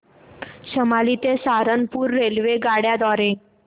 शामली ते सहारनपुर रेल्वेगाड्यां द्वारे